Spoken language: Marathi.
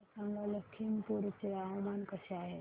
मला सांगा लखीमपुर चे हवामान कसे आहे